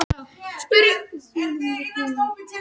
Hann er mjög mikill fagmaður.